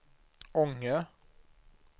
Ånge